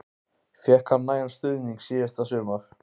Fékk hann nægan stuðning síðasta sumar?